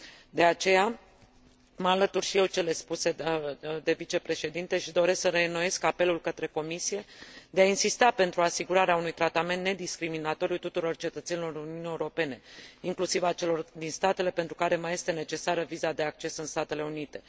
De aceea, mă alătur și eu celor spuse de vicepreședinte și doresc să reînnoiesc apelul către Comisie de a insista pentru asigurarea unui tratament nediscriminatoriu tuturor cetățenilor Uniunii Europene, inclusiv a celor din statele pentru care mai este necesară viza de acces în Statele Unite.